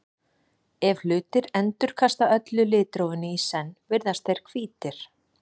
Ef hlutir endurkasta öllu litrófinu í senn virðast þeir hvítir.